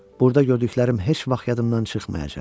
Burada gördüklərim heç vaxt yadımdan çıxmayacaq.